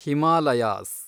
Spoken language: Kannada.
ಹಿಮಾಲಯಾಸ್